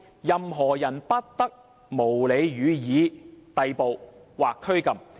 任何人不得無理予以逮捕或拘禁。